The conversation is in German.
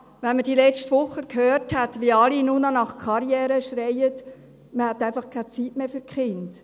Wenn man letzte Woche gehört hat, wie alle nur noch nach Karriere schreien, hat man einfach keine Zeit mehr für die Kinder.